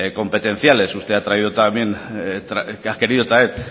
competenciales usted ha querido traer